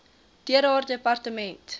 deur haar departement